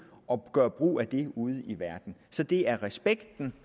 og gøre brug af det ude i verden så det er respekt